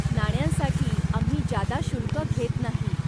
नाण्यांसाठी आम्ही जादा शुल्क घेत नाही.